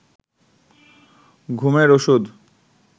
ঘুমের ওষুধ